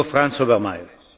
Herr Präsident!